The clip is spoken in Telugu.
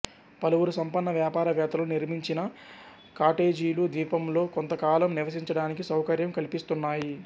పలువురు సంపన్న వ్యాపారవేత్తలు నిర్మిచిన కాటేజీలు ద్వీపంలో కొంతకాలం నివసించడానికి సౌకర్యం కల్పిస్తున్నాయి